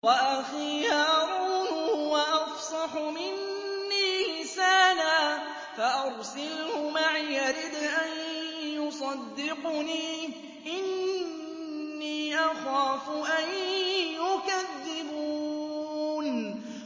وَأَخِي هَارُونُ هُوَ أَفْصَحُ مِنِّي لِسَانًا فَأَرْسِلْهُ مَعِيَ رِدْءًا يُصَدِّقُنِي ۖ إِنِّي أَخَافُ أَن يُكَذِّبُونِ